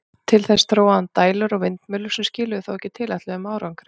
Til þess þróaði hann dælur og vindmyllur, sem skiluðu þó ekki tilætluðum árangri.